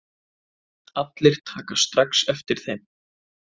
Allir taka strax eftir þeim.